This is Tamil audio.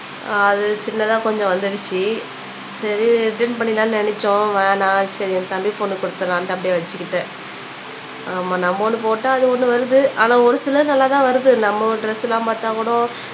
அது சின்னதா கொஞ்சம் வந்துருச்சு சரி ரிட்டர்ன் பண்ணிரலாம்னு நினச்சோம் வேணாம் சரி என் தம்பி பொன்னுக்கு குடுத்துறலானுட்டு அப்படியே வச்சுருக்கேன் ஆமா நம்ம ஒண்ணு போட்டா அது ஒண்ணு வருது ஆனா ஒரு சில இது நல்லா தான் வருது நம்ம டிரெஸ் எல்லாம் பாத்தா கூட